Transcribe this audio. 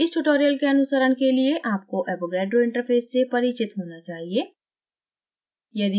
इस tutorial के अनुसरण के लिए आपको avogadro interface से परिचित होना चाहिए